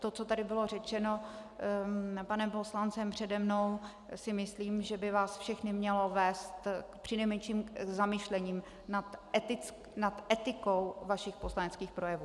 To, co tady bylo řečeno panem poslancem přede mnou, si myslím, že by vás všechny mělo vést přinejmenším k zamyšlení nad etikou vašich poslaneckých projevů.